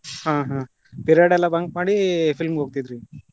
ಹಾ ಹಾ, period ಎಲ್ಲಾ bunk ಮಾಡಿ film ಹೋಗ್ತಿದ್ರಿ?